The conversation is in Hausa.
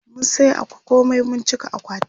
mun saya komai mun cika akwatin